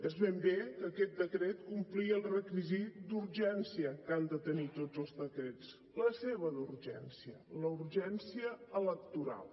és ben bé que aquest decret complia el requisit d’urgència que han de tenir tots els decrets la seva d’urgència la urgència electoral